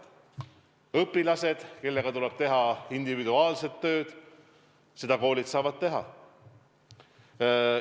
Õpilased, kellega tuleb teha individuaalset tööd – koolid saavad seda teha.